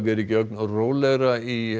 er ekki ögn rólegra í